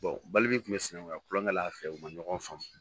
Balbi kun bɛ sinankuya kulɔnkɛla fɛ u ma ɲɔgɔn faamu.